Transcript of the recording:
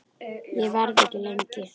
Ég verð ekki lengi